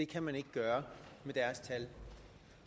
kan man ikke gøre